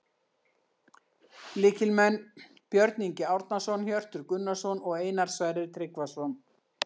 Lykilmenn: Björn Ingi Árnason, Hjörtur Gunnarsson og Einar Sverrir Tryggvason